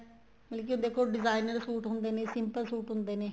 ਮਤਲਬ ਕੀ ਦੇਖੋ designer suit ਹੁੰਦੇ ਨੇ simple suit ਹੁੰਦੇ ਨੇ